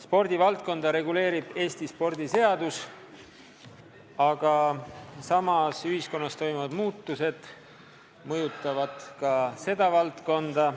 Spordivaldkonda reguleerib Eesti spordiseadus, aga ühiskonnas toimuvad muutused mõjutavad ka seda valdkonda.